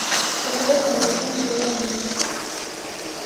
посоветуй мне фильм сезон убийц